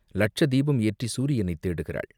லட்சதீபம் ஏற்றிச் சூரியனைத் தேடுகிறாள்!